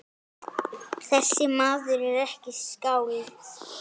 Þessi maður er ekki skáld.